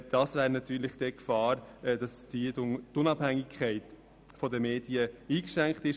So bestünde die Gefahr, dass die Unabhängigkeit der Medien eingeschränkt würde.